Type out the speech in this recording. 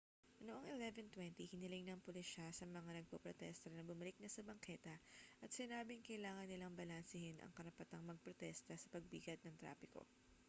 noong 11:20 hiniling ng pulisya sa mga nagpoprotesta na bumalik na sa bangketa at sinabing kailangan nilang balansehin ang karapatang magprotesta sa pagbigat ng trapiko